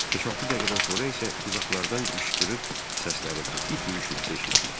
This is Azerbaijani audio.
Beş-altı dəqiqədən sonra isə uzaqlardan qışqırıq səsləri və it ürüşməsi eşitdik.